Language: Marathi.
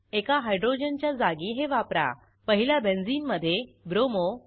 एका हायड्रोजनच्या जागी हे वापराः पहिल्या बेंझिनमधे ब्रोमो